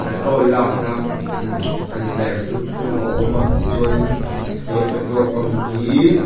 lakna immm a ni mai ang chu chu chu a awm a tichuan in he petrol pump hiiii--